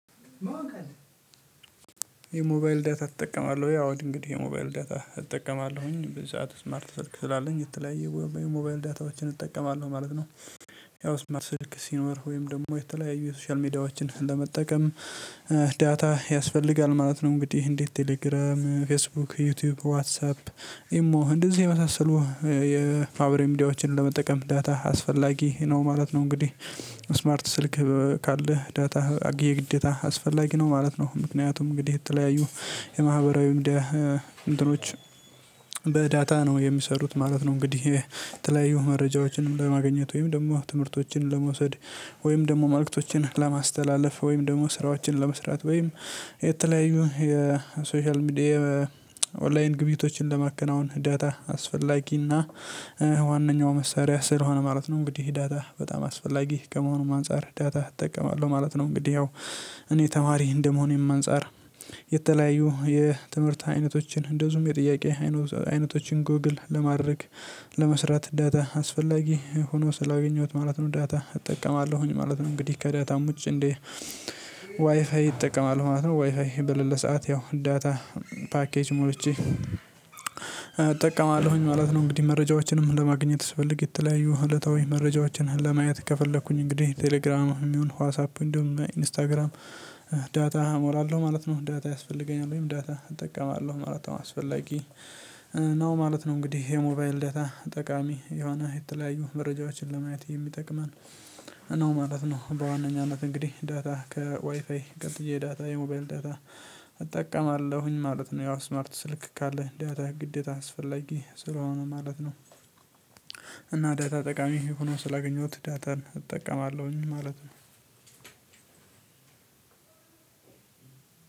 የሞባይል ዳታ ትጠቀማለሁ ወይ? እንግዲህ የሞባይል ዳታ እጠቀማለሁኝ ብዛት ስማርት ስልክ ስላለኝ የተለያየ የሞባይል ዳታዎችን እጠቀማለሁ ማለት ነው። ያው ስማርት ስልክ ሲኖር ወይም ደግሞ የተለያዩ የሶሻል ሜዳዎችን ለመጠቀም ዳታ ያስፈልጋል ማለት ነው። እንግዲህ እንዴ ቴሌግራም፤ ፌስቡክ፤ ዩቲዩብ፤ ዋትሳፕ፤ ኢሞ እንደዚህ የመሳሰሉ የማህበራዊ ሚዲያዎችን ለመጠቀም ዳታ አስፈላጊ ነው ማለት ነው እንግዲህ ስማርት ስልክ ካለህ ዳታ የግዴታ አስፈላጊ ነው ማለት ነው። ምክንያቱም እንግዲህ የተለያዩ የማህበራዊ እንትኖች በዳታ ነው የሚሰሩት ማለት ነው። እንግዲህ የተለያዩ መረጃዎችንም ለማግኘት ወይም ደግሞ ትምህርቶችን ለመውሰድ ወይም ደግሞ መልእክቶችን ለማስተላለፍ ወይም ደግሞ ስራዎችን ለመስራት ወይም የተለያዩ የሶሻል ሚዲያ ኦንላይን ግቢብይቶችን ለማከናወን ዳታ አስፈላጊና ዋናው መሳሪያ ስለሆነ ማለት ነው። እንግዲህ ዳታ በጣም አስፈላጊ ከመሆኑም አንፃር ዳታ እጠቀማለሁ ማለት ነው እንግዲህ ያው እኔ ተማሪ እንደመሆንም አንፃር የተለያዩ የትምህርት አይነቶች፤ እንደዚሁም የጥያቄ አይነቶችን ጎግል ለማድረግ ለመስራት ዳታ አስፈላጊ ሆኖ ስላገኘሁት ማለት ነው ዳታ እጠቀማለሁኝ ማለት ነው እንግዲህ ከዳታም ውጪ እንዴ ዋይፋይ እጠቀማለሁ ማለት ነው ዋይፋይ በለለ ሰዓት ያው ዳታ ፓኬጅ ሞልቼ እጠቀማለሁኝ ማለት ነው እንግዲህ መረጃዎችንም ለማግኘት ስፈልግ የተለያዩ እለታዊ መረጃዎችን ለማየት ከፈለኩኝ እንግዲህ ቴሌግራም የሚሆን ዋዝ አፕ እንደውም ኢንስታግራም ዳታ እሞላለሁ ማለት ነው ዳታ ያስፈልገኛል ወይም ዳታ እጠቀማለሁ ማለት ነው አስፈላጊ ነው ማለት ነው። እንግዲህ የሞባይል ዳታ ጠቃሚ የሆነ የተለያዩ መረጃዎችን ለማየት የሚጠቅመን ነው ማለት ነው በዋነኛነት እንግዲህ ዳታ ከዋይፋይ ቀጥዬ ዳታ የሞባይል ዳታ እጠቀማለሁኝ ማለት ነው። ያው ስማርት ስልክ ካለ ዳታ ግዴታ አስፈላጊ ስለሆነ ማለት ነው። እና ዳታ ጠቃሚ ሆኖ ስላገኘሁት ዳታን እጠቀማለሁኝ ማለት ነው።